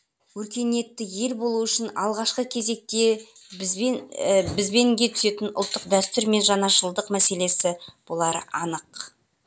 өркениетті ел болу үшін алғашқы кезекте бізбенге түсетін ұлттық дәстүр мен жаңашылдық мәселесі болары анық